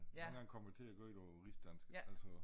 Jeg er en gang kommet til at kør ei niget rigsdansk altså